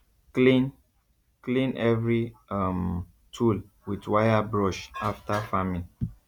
clean clean every um tool with wire brush after farming